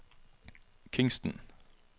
Kingston